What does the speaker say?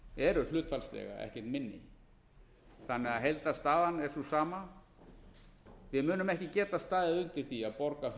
eru hlutfallslega ekkert minni þannig að heildarstaðan er sú sama við munum ekki geta staðið undir því að borga